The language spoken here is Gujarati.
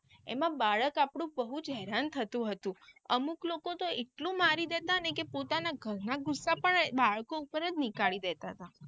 એમાં બાળક આપણું બૌજ હેરાન થતું હતું અમુક લોકો તો એટલું મારી દેતા ને કે પોતાના ઘર ના ગુસ્સા પણ બાળકો ઉપર નીકળી દેતા.